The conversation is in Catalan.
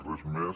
res més